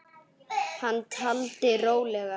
Hann taldi rólega